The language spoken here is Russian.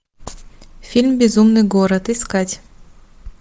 фильм безумный город искать